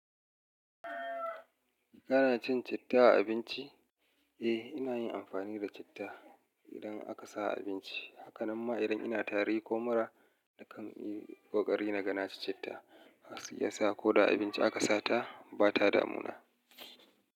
Kana cin citta a abinci? Eh, ina yin amfani da citta idan aka sa a abinci. Hakanan ma idan ina tari ko mura nakan yi ƙoƙari naga naci citta, ya sa ko da abinci aka sata bata damuna.